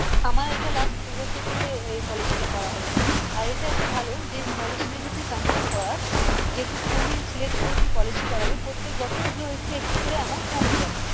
আমার এটা last দু বছর ধরে এই policy টা করা হয়েছে আর এটা একটা ভালো যে policy যদি তুই continue করাস যেটুকু জমি select করে তুই policy করাবি প্রত্যেক বছর ওগুলো একটু একটু করে amount কমে যাই